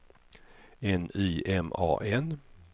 N Y M A N